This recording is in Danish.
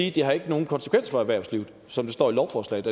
ikke har nogen konsekvens for erhvervslivet som det står i lovforslaget